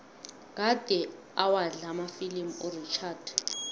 kade awadlala amafilimu urichard